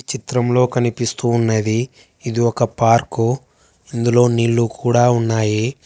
చిత్రంలో కనిపిస్తూ ఉన్నది ఇది ఒక పార్కు ఇందులో నీళ్లు కూడా ఉన్నాయి.